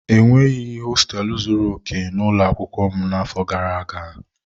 E nweghị hosteelu zuru okè n'ụlọ akwụkwọ m n'afọ gara aga.